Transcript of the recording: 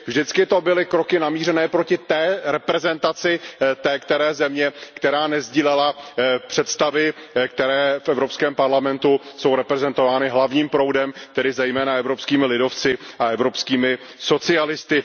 Vždy to byly kroky namířené proti reprezentaci té které země, která nesdílela představy, které v EP jsou reprezentovány hlavním proudem, tedy zejména evropskými lidovci a evropskými socialisty.